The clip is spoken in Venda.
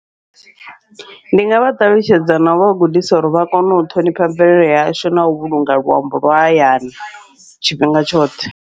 Ndi ngavha ṱalutshedza nau vha gudisa uri vha kone u ṱhonifha mvelele yashu, nau vhulunga luambo lwa hayani tshifhinga tshoṱhe.